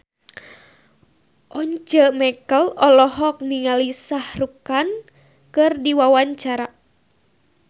Once Mekel olohok ningali Shah Rukh Khan keur diwawancara